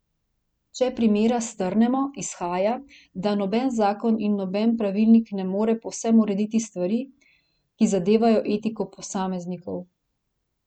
Če primera strnemo, izhaja, da noben zakon in noben pravilnik ne more povsem urediti stvari, ki zadevajo etiko posameznikov.